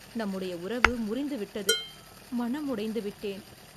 நம்முடைய உறவு முறிந்துவிட்டது. மனம் உடைந்து விட்டேன்.